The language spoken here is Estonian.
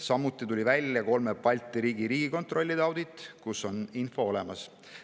Samuti on välja tulnud kolme Balti riigi riigikontrollide audit, kus on info olemas.